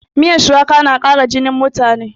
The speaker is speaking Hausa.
Miyan shuwaka na ƙara jinin mutane